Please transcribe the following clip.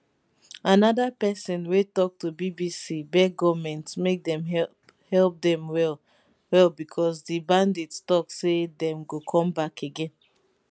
anoda pesin wey tok to bbc beg goment make dem help help dem well well becos di bandits tok say dem go come back again